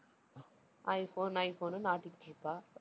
iPhone ஐஃபோன்னு ஆட்டிட்டுருப்பா